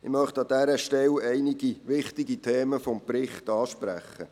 Ich möchte an dieser Stelle einige wichtige Themen des Berichts ansprechen.